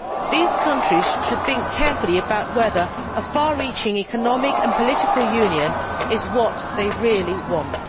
These countries should think carefully about whether a far reaching economic and political union is what they really want.